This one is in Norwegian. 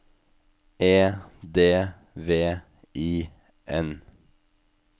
E D V I N